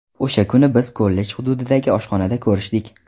O‘sha kuni biz kollej hududidagi oshxonada ko‘rishdik.